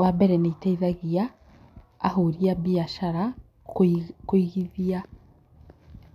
Wa mbere nĩ ĩteithagia ahũri a biacara kũigithia